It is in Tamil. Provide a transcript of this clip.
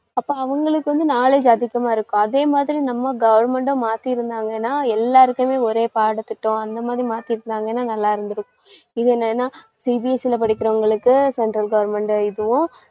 அப்ப அவங்களுக்கு வந்து knowledge அதிகமா இருக்கும். அதேமாதிரி நம்ம government அ மாத்தி இருந்தாங்கன்னா, எல்லாருக்குமே ஒரே பாடத்திட்டோம் அந்த மாதிரி மாத்தி இருந்தாங்கன்னா நல்லா இருந்திருக்கும். CBSE ல படிக்கிறவங்களுக்கு central government இதுவும்